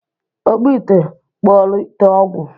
Ọkpụ ite kpụọrọ ite ọgwụ!